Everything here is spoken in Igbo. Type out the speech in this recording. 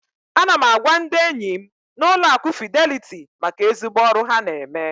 Ana m agwa ndị enyim na Ụlọ akụ Fidelity maka ezigbo ọrụ ha na eme.